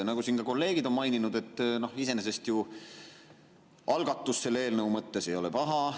Nagu siin ka kolleegid on maininud, iseenesest ju selles eelnõus algatus ei ole paha.